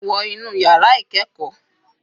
Wọ inú yàrá ìkẹ́ẹ̀kọ́.